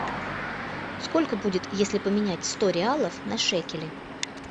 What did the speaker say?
сколько будет если поменять сто реалов на шекели